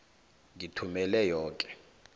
ngithumele yoke